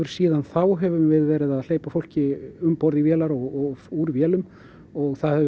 síðan þá höfum við verið að hleypa fólki um borð í vélar og úr vélum og það hefur